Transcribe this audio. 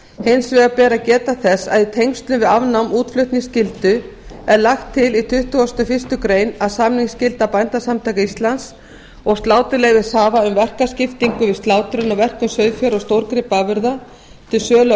hins vegar ber að geta þess að í tengslum við afnám útflutningsskyldu er lagt til í tuttugasta og fyrstu grein að samningsskylda bændasamtaka íslands og sláturleyfishafa um verkaskiptingu við slátrun og verkun sauðfjár og stórgripaafurða til sölu á